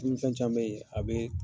Dumuni fɛn can be yen, a be